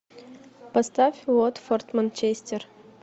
поставь уотфорд манчестер